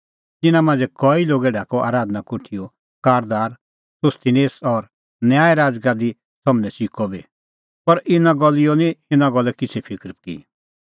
तिन्नां मांझ़ै कई लोगै ढाकअ आराधना कोठीओ कारदार सोस्थिनेस और न्याय राज़गादी सम्हनै च़िकअ बी पर गलिओ निं इना गल्ले किछ़ै फिकर की